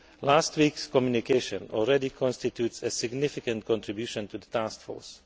Last week's communication already constitutes a significant contribution to the task force.